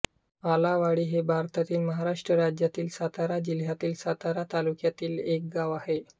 आलावाडी हे भारतातील महाराष्ट्र राज्यातील सातारा जिल्ह्यातील सातारा तालुक्यातील एक गाव आहे